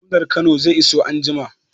Gwamnan Kano zai iso anjima